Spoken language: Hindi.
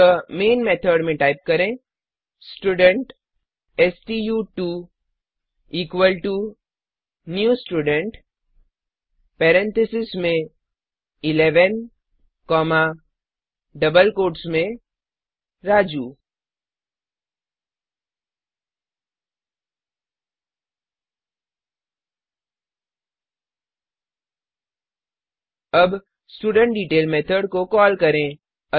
अतः मेन मेथड में टाइप करें स्टूडेंट स्टू2 equal to new student parentheses में 11 कॉमा डबल कोट्स में राजू अब स्टुडेंटडेटेल मेथड को कॉल करें